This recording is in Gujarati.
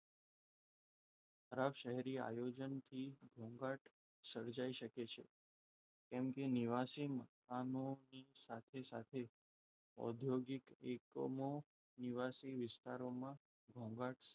ખરાબ શહેરી આયોજનથી ઘોંઘાટ સર્જાઇ શકે છે. કેમ કે નિવાસી સાથે સાથે ઔદ્યોગિક એકમો નિવાસી વિસ્તારોમાં ઘોંઘાટ,